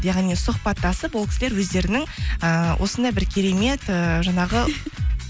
яғни сұхбаттасып ол кісілер өздерінің ыыы осындай бір керемет ыыы жаңағы